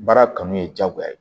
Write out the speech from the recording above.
Baara kanu ye diyagoya ye